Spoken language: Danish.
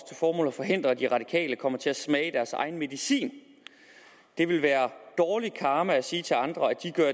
formål at forhindre at de radikale kommer til at smage deres egen medicin det vil være dårlig karma at sige til andre at de gør